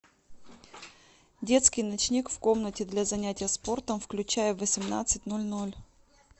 детский ночник в комнате для занятия спортом включай в восемнадцать ноль ноль